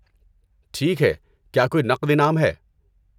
ٹھیک ہے، کیا کوئی نقد انعام ہے؟